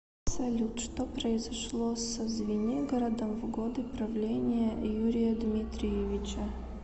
салют что произошло со звенигородом в годы правления юрия дмитриевича